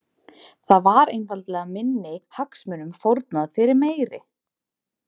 Þar var einfaldlega minni hagsmunum fórnað fyrir meiri.